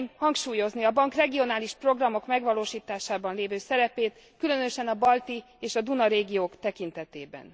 szeretném hangsúlyozni a bank regionális programok megvalósításában lévő szerepét, különösen a balti és a Duna régiók tekintetében.